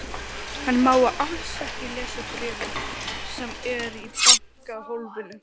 Hann má alls ekki lesa bréfið sem er í bankahólfinu.